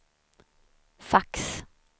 fax